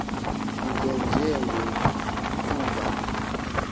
nto nje ngokuba